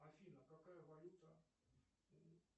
афина какая валюта у